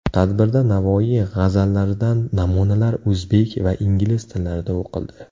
Tadbirda Navoiy g‘azallaridan namunalar o‘zbek va ingliz tillarida o‘qildi.